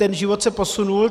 Ten život se posunul.